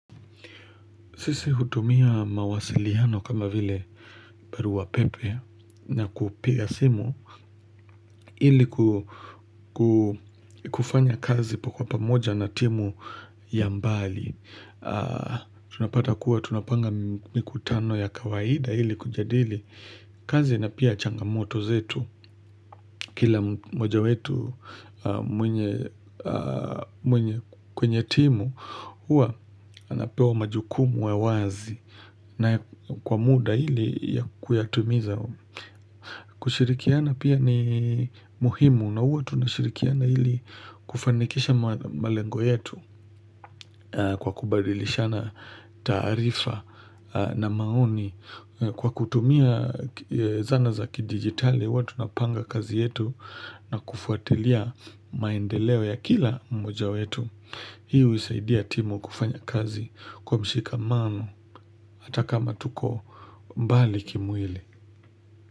Sisi hutumia mawasiliano kama vile barua pepe na kupiga simu ili kufanya kazi kwa pamoja na timu ya mbali. Tunapata kuwa tunapanga mikutano ya kawaida ili kujadili. Kazi na pia changamoto zetu, kila moja wetu mwenye kwenye timu, huwa napewa majukumu wa wazi na kwa muda ili kuyatimiza. Kushirikiana pia ni muhimu na huwa tunashirikiana hili kufanikisha malengo yetu kwa kubadilishana taarifa na maoni kwa kutumia zana za kidigitali huwa tunapanga kazi yetu na kufuatilia maendeleo ya kila mmoja wetu. Hii huisaidia timu kufanya kazi kwa mshikamano ata kama tuko mbali kimwili.